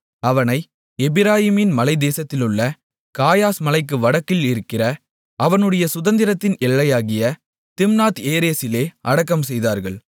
அவனை எப்பிராயீமின் மலைத்தேசத்திலுள்ள காயாஸ் மலைக்கு வடக்கில் இருக்கிற அவனுடைய சுதந்திரத்தின் எல்லையாகிய திம்னாத்ஏரேசிலே அடக்கம்செய்தார்கள்